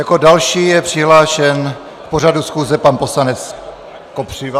Jako další je přihlášen k pořadu schůze pan poslanec Kopřiva?